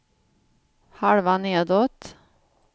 halva nedåt